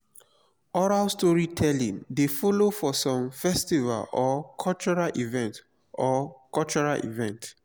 oral storytelling de follow for some festival or cultural events or cultural events